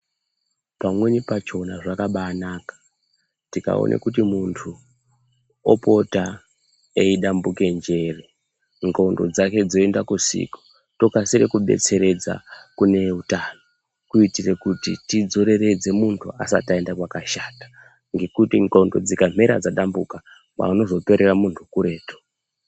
Pamweni pachona zvakabanaka tikaona kuti muntu opota eidambuke njere ndxondo dzake dzoenda kusiko tokasire kubetseredza neeutano. Kuitire kuti tidzireredze muntu asati aenda kwakashata ngekuti ndxondo dzika mhera dzadambuka paunozoperera muntu kuretu.